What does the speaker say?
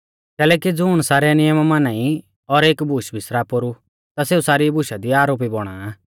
कैलैकि ज़ुण सारै नियम माना ई और एक बूश बिसरा पोरु ता सेऊ सारी बुशा दी आरोपी बौणा आ